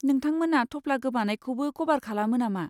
नोंथांमोना थफ्ला गोमानायखौबो कभार खालामो नामा?